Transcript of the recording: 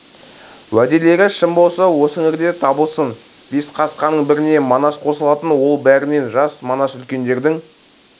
уәделері шын болса осы іңірде табылсын бес қасқаның біріне манас қосылатын ол бәрінен жас манас үлкендердің